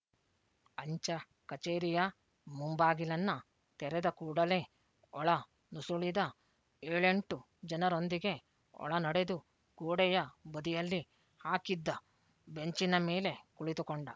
ಅಂಚೆ ಕಛೇರಿಯ ಮುಂಬಾಗಿಲನ್ನು ತೆರೆದ ಕೂಡಲೇ ಒಳ ನುಸುಳಿದ ಏಳೆಂಟು ಜನರೊಂದಿಗೆ ಒಳ ನಡೆದು ಗೋಡೆಯ ಬದಿಯಲ್ಲಿ ಹಾಕಿದ್ದ ಬೆಂಚಿನ ಮೇಲೆ ಕುಳಿತುಕೊಂಡ